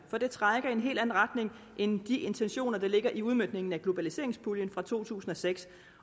for det trækker i en helt anden retning end de intentioner der ligger i udmøntningen af globaliseringspuljen fra to tusind og seks